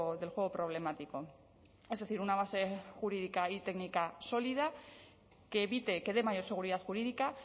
del juego problemático es decir una base jurídica y técnica sólida que evite que dé mayor seguridad jurídica